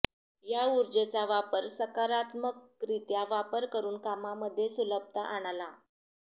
या ऊर्जेचा वापर सकारात्मकरित्या वापर करून कामांमध्ये सुलभता आणाला